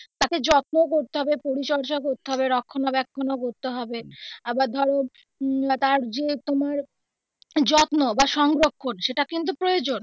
তাকে যত্ন করতে হবে পরিচর্যা করতে হবে রক্ষনা বেক্ষনও করতে হবে আবার ধরো উম ওটার যে তোমার যত্ন বা সংরক্ষণ সেটা কিন্তু প্রয়োজন.